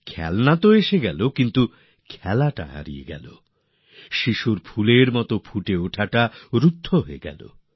খেলনা তো এলো কিন্তু খেলা শেষ হয়ে গেল আর শিশুর বিকাশও হারিয়ে গেলো